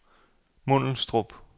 Mundelstrup